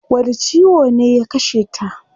Wani ciwo ne ya kasheta?